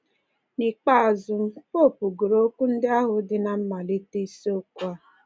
N’ikpeazụ, popu gụrụ okwu ndị ahụ dị ná mmalite isiokwu a